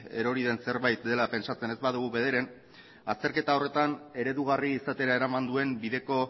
erori den zerbait dela pentsatzen ez badugu bederen azterketa horretan eredugarri izatera eraman duen bideko